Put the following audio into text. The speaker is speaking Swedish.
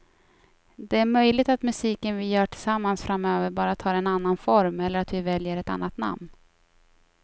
Det är möjligt att musiken vi gör tillsammans framöver bara tar en annan form eller att vi väljer ett annat namn.